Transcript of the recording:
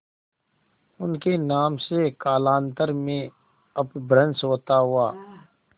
उनके नाम से कालांतर में अपभ्रंश होता हुआ